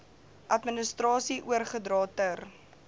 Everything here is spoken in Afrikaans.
administrasie oorgedra ter